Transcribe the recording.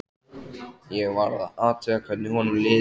Ég varð að athuga hvernig honum liði.